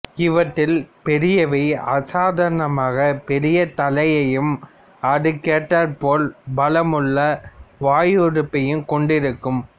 இவற்றில் பெரியவை அசாதாரணமாக பெரிய தலையையும் அதற்கேற்றாற்போல் பலமுள்ள வாயுறுப்பையும் கொண்டிருக்கும்